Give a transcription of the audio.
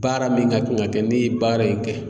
Baara min ka kan ka kɛ ne ye baara in kɛ.